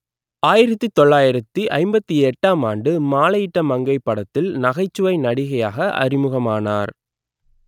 ஆயிரத்து தொள்ளாயிரத்து ஐம்பத்தி எட்டாம் ஆண்டு மாலையிட்ட மங்கை படத்தில் நகைச்சுவை நடிகையாக அறிமுகமானார்